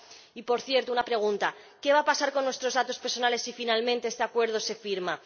Y, por cierto, una pregunta ¿qué va a pasar con nuestros datos personales si, finalmente, este acuerdo se firma?